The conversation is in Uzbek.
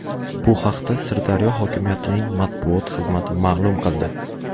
Bu haqda Sirdaryo hokimiyatining matbuot xizmati ma’lum qildi .